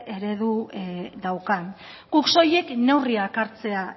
eredu daukan guk soilik neurriak hartzea